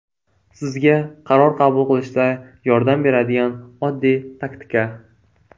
Sizga qaror qabul qilishda yordam beradigan oddiy taktika.